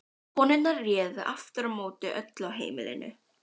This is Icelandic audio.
Konurnar réðu aftur á móti öllu á heimilinu.